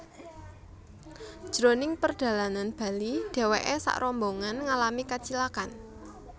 Jroning perdalanan bali dheweke sakrombongan ngalami kacilakan